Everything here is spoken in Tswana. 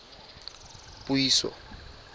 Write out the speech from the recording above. puiso